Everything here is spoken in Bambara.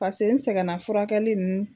Pase n sɛgɛnna furakɛli ninnu